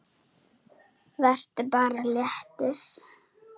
Vertu bara léttur!